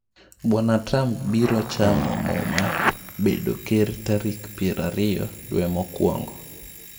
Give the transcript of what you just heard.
Bwana Trump biro chamo muma bedo ker tarik piero ariyo dwee mokwongo.